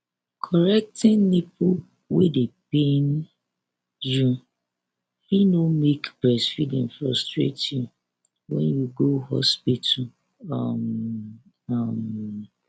correcting nipple wey dey pain you fit no make breastfeeding frustrate you when you go hospital um um